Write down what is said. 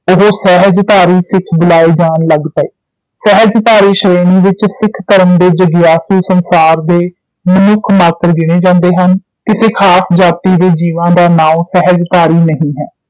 ਉਹ ਸਹਿਜਧਾਰੀ ਸਿੱਖ ਬੁਲਾਏ ਜਾਣ ਲੱਗ ਪਏ ਸਹਿਜਧਾਰੀ ਸ਼੍ਰੇਣੀ ਵਿਚ ਸਿੱਖ ਧਰਮ ਦੇ ਜਗਿਆਸੂ ਸੰਸਾਰ ਦੇ ਮਨੁੱਖ ਮਾਤਰ ਗਿਣੇ ਜਾਂਦੇ ਹਨ ਕਿਸੇ ਖਾਸ ਜਾਤੀ ਦੇ ਜੀਵਾਂ ਦਾ ਨਾਉਂ ਸਹਿਜਧਾਰੀ ਨਹੀਂ ਹੈ